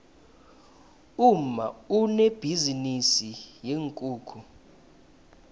umma unebhizinisi yeenkukhu